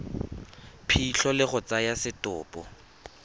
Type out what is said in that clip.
phitlho le go tsaya setopo